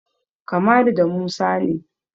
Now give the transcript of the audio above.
Kamalu da Musa ne.